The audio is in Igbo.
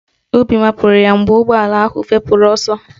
Obi mapụrụ ya mgbe ụgbọala ahụ fepụrụ ọsọ